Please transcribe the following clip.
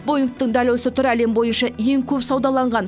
боингтың дәл осы түрі әлем бойынша ең көп саудаланған